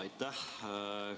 Aitäh!